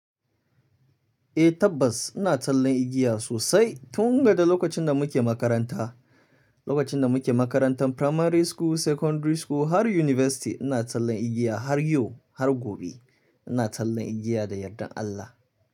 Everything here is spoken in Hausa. Eh tabbas ina tsallan igiya sosai tun daga lokacin da muke makaranta, lokacin da muke makarantan primary school, secondary school har university ina tsallan igiya har yau har gobe ina tsallan igiya da yardan Allah.